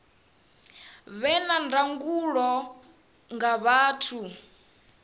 vhe na ndangulo nga vhathu